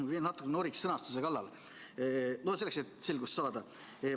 Ma siin natuke noriks sõnastuse kallal, selleks et selgust saada.